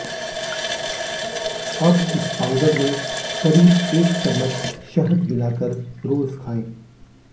अब इस पाउडर में करीब एक चम्मच शहद मिलाकर रोज खाएं